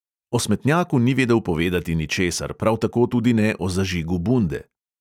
O smetnjaku ni vedel povedati ničesar, prav tako tudi ne o zažigu bunde.